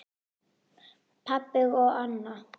Pabbi og Anna.